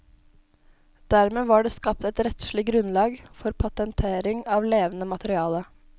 Dermed var det skapt et rettslig grunnlag for patentering av levende materiale.